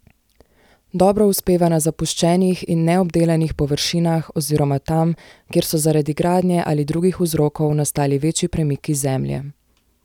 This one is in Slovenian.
Dobro uspeva na zapuščenih in neobdelanih površinah oziroma tam, kjer so zaradi gradnje ali drugih vzrokov nastali večji premiki zemlje.